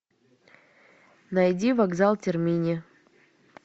найди вокзал термини